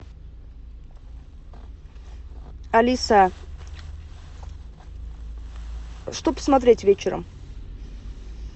алиса что посмотреть вечером